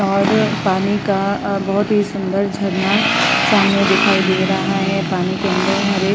और पानी का बहोत ही सुन्दर झरना सामने दिखाई दे रहा है। पानी के अंदर हरे --